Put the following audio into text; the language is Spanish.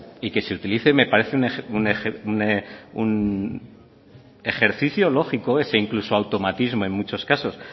y que se utilice me parece un ejercicio lógico ese incluso automatismo en muchos casos